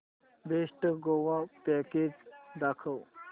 best Goa package दाखव